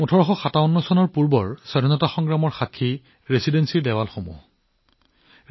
১৮৫৭ চনৰ স্বাধীনতাৰ প্ৰথম যুদ্ধৰ সাক্ষ্য এতিয়াও ৰেচিডেন্সিৰ দেৱালত দৃশ্যমান হৈ আছে